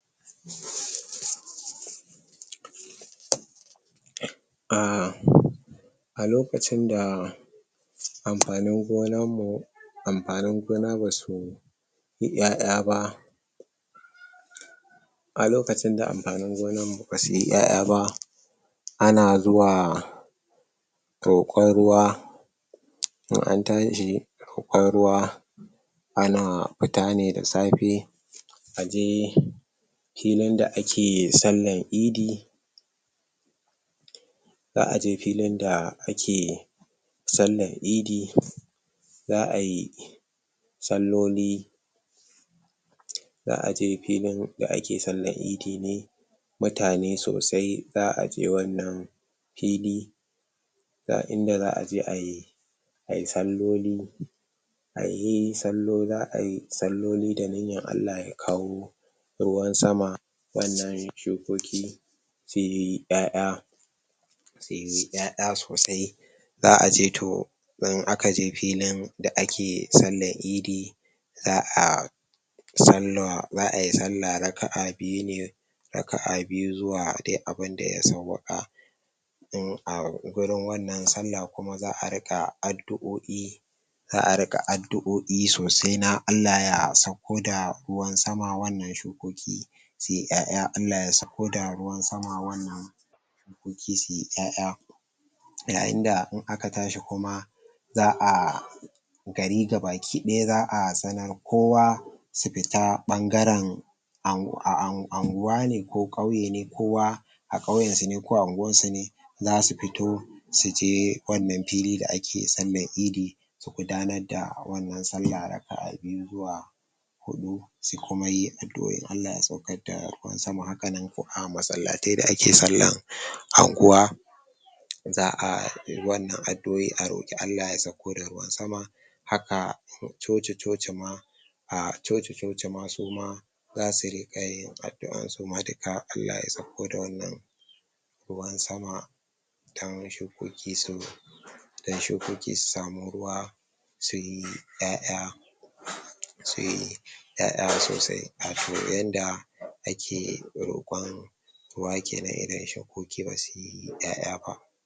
A a lokacin da amfanin gonan mu, amfanin gona basu yi ƴaƴa ba a lokacin da amfanin gonan mu ba su yi ƴaƴa ba a na zuwa roƙon ruwa in an tashi roƙon ruwa ana fita ne da safe a je, filin da ake sallan idi zaa je filin da ake sallah'n idi zaa yi salloli zaa je filin da ake sallan idi ne mutane sosai, zaa je wannan fili ga inda zaa je ayi, ayi salloli ayi salo, zaa yi salloli da niyan Allah ya kawo ruwan sama, wannan shukoki tayi ƴaƴa tayi ƴaƴa sosai zaa je toh, in aka je filin da ake sallan idi zaa sallah, za ayi sallah na rakaa biyu ne rakaa biyu zuwa dai abun da ya sawaka in a gurin wannan sallah kuma zaa rika adduƴoƴi zaa rika adduƴoƴi sosai na Allah ya ansa ko da ruwan sama wannan shukoki sai yayi ƴaƴa Allah ya sako da ruwan sama wannan sun ki suyi ƴaƴa ƴaƴin da in aka tashi kuma zaa gari gabakidaya zaa sanar kowa su fita bangaren angwa ne ko kauye ne kowa a kauyen su ne ko a angwan su ne za su fito su je wannan fili da ake sallan idi gudanar da wannan sallah da kaa bi zuwa hudu, sai kuma yin adduƴoƴi in Allah ya saukar da ruwan sama haka nan ko a masalatai da ake sallan angwa zaa wannan adduƴoƴi a roki Allah ya sauko da ruwan sama haka churchi churchi ma a churchi churchi ma su ma za su rika yin addua su ma da ka Allah ya sauko da wannan ruwan sama, dan shukoki su dan shukoki su samu ruwa su yi ƴaƴa sai ƴaƴan sosai kafun yanda ake roƙon ruwa kenan ire shukoki ma su yi ƴaƴa ba.